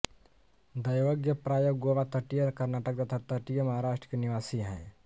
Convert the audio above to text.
दैवज्ञ प्राय गोवा तटीय कर्नाटक तथा तटीय महाराष्ट्र के निवासी हैं